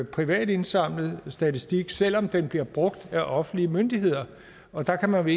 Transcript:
privat indsamlet statistik selv om den bliver brugt af offentlige myndigheder og der kan man